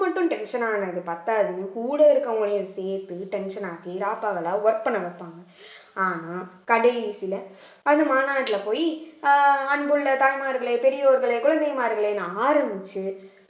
மட்டும் tension ஆனது பத்தாதுன்னு கூட இருக்கறவங்களையும் சேர்த்து tension ஆக்கி ராப்பகலா work பண்ண வெப்பாங்க ஆனா கடைசியில அந்த மாநாட்டுல போயி அஹ் அன்புள்ள தாய்மார்களே பெரியோர்களே குழந்தைமார்களேன்னு ஆரம்பிச்சு